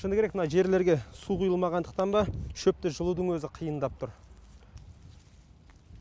шыны керек мына жерлерге су құйылмағандықтан ба шөпті жұлудың өзі қиындап тұр